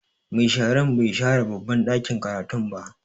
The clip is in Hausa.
Mai shara bai share babban ɗakin karatun ba.